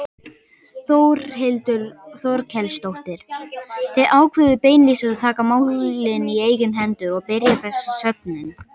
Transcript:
Þórhildur Þorkelsdóttir: Þið ákváðuð beinlínis að taka málin í eigin hendur og byrja þessa söfnun?